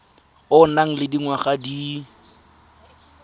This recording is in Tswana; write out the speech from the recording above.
o nang le dingwaga di